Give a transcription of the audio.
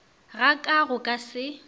ga ka go ka se